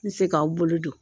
N se k'aw bolo don.